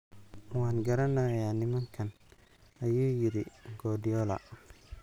""Waan garanayaa nimankan," ayuu yiri Guardiola.